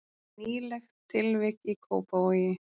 Nýlegt tilvik í Kópavogi